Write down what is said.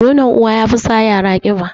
Nonon uwa yafi sa yara ƙiba